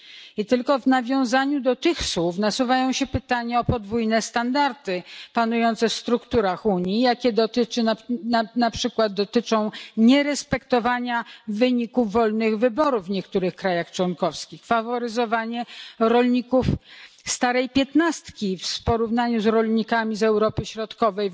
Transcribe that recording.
I tylko w nawiązaniu do tych słów nasuwają się pytania o podwójne standardy panujące w strukturach Unii, które dotyczą na przykład nierespektowania wyników wolnych wyborów w niektórych krajach członkowskich, faworyzowania rolników starej piętnastki we wspólnej polityce rolnej w porównaniu z rolnikami z Europy Środkowej,